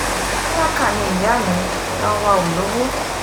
tálákà ni ìyá mi ìran wá o lowó